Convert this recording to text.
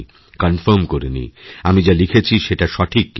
confirm করে নিই আমি যা লিখেছি সেটা সঠিক কিনা